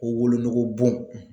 Ko wolonugu bon